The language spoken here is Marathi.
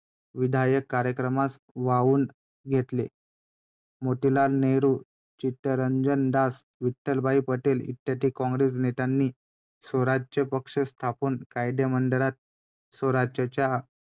वाईट ही गोष्ट वाटत होती की त्या काळातले लोक कसे होते जे स्त्रियांना फार त्रास द्यायचे . अजिबातच आदर नाही करायचे आणि बऱ्याच गोष्टी.